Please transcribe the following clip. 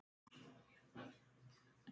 Hún er lík mömmu sinni.